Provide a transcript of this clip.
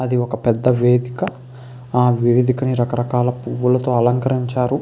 అది ఒక పెద్ద వేదిక. ఆ వేదికని రకరకాల పువ్వులతో అలంకరించారు.